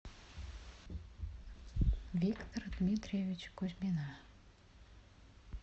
виктора дмитриевича кузьмина